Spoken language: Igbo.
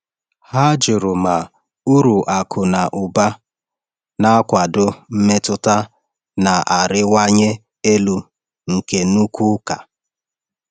Ha jụrụ ma uru akụ na ụba na-akwado mmetụta na-arịwanye elu nke nnukwu ụka.